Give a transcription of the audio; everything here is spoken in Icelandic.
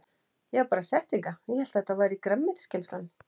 Ég var bara sett hingað ég hélt að þetta væri grænmetisgeymslan.